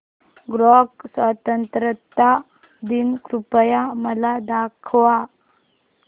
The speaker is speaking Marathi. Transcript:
कॉंगो स्वतंत्रता दिन कृपया मला दाखवा